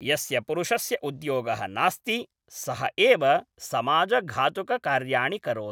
यस्य पुरुषस्य उद्योगः नास्ति सः एव समाजघातुककार्याणि करोति